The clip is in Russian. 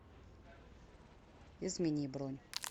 измени бронь